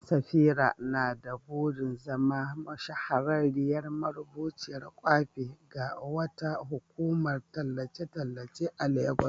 Safira na da burin zama shahararriyar marubuciyar kwafi ga wata hukumar tallace-tallace a Legas.